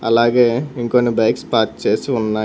అలాగే ఇంకొన్ని bikes park చేసి ఉన్నాయ్.